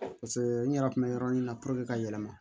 n yɛrɛ kun bɛ yɔrɔ min na ka yɛlɛma